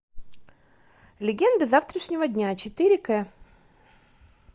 легенды завтрашнего дня четыре кэ